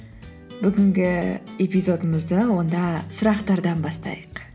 бүгінгі эпизодымызды онда сұрақтардан бастайық